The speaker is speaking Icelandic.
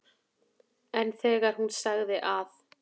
En þegar hún sagði að